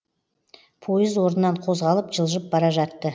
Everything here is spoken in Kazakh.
пойыз орнынан қозғалып жылжып бара жатты